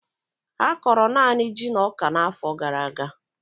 Ha kọrọ naanị ji na ọka n'afọ gara aga